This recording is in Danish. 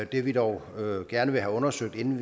vi vil dog gerne have undersøgt inden